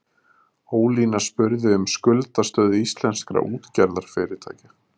Ólína spurði um skuldastöðu íslenskra útgerðarfyrirtækja